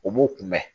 U b'u kunbɛn